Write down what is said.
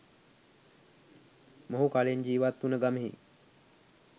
මොහු කලින් ජීවත් වුන ගමෙහි